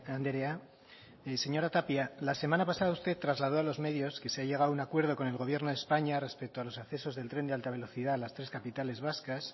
andrea señora tapia la semana pasada usted trasladó a los medios que se ha llegado a un acuerdo con el gobierno de españa respeto a los accesos del tren de alta velocidad a las tres capitales vascas